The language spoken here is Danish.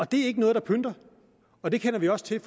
det er ikke noget der pynter og det kender vi også til